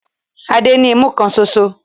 Adé ní imú kan ṣoṣo.